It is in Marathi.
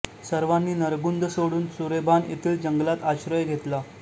सर्वांनी नरगुंद सोडून सुरेभान येथील जंगलात आश्रय घेतला